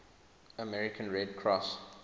american red cross